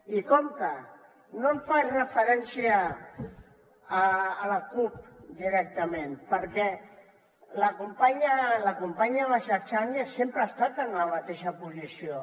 i compte no faig referència a la cup directament perquè la companya basha change sempre ha estat en la mateixa posició